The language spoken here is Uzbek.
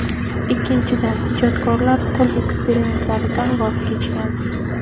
Ikkinchidan , ijodkorlar til eksperimentlaridan voz kechgan.